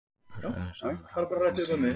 Hröðun er sama og hraðabreyting á tímaeiningu.